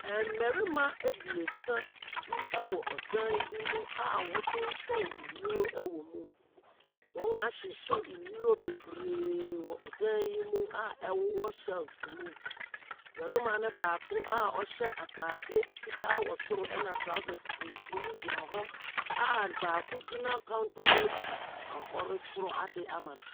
Mmarima abiesa bi wɔ ɔdan bi mu a wɔtotɔn nnuro wɔ mu. Wɔahyehyɛ nnuro bebree wɔ ɔdan yi mu a ɛwowɔ shells mu. Barima no baako a ɔhyɛ ataade fitaa wɔ soro na trawsɛs tuntum gyina hɔa baako gyina counter no akyi a ɔrekyerɛ ade ama no.